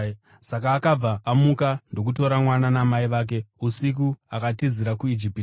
Saka akabva amuka ndokutora mwana namai vake usiku akatizira kuIjipiti,